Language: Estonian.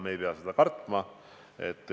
Me ei pea seda kartma.